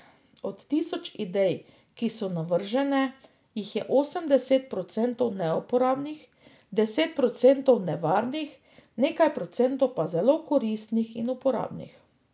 Od tisoč idej, ki so navržene, jih je osemdeset procentov neuporabnih, deset procentov nevarnih, nekaj procentov pa zelo koristih in uporabnih.